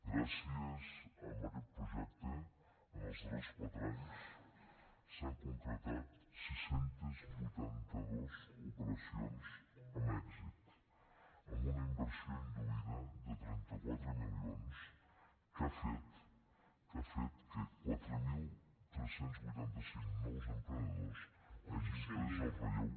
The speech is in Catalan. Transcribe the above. gràcies a aquest projecte en els darrers quatre anys s’han concretat sis cents i vuitanta dos operacions amb èxit amb una inversió induïda de trenta quatre milions que ha fet que ha fet que quatre mil tres cents i vuitanta cinc nous emprenedors hagin pres el relleu